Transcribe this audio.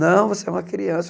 Não, você é uma criança.